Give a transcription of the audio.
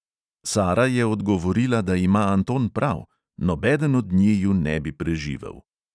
Sara je odgovorila, da ima anton prav, nobeden od njiju ne bi preživel.